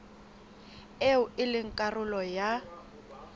eo e leng karolo ya